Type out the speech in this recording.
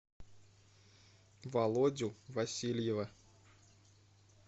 володю васильева